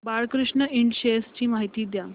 Balkrishna Ind shares ची माहिती द्या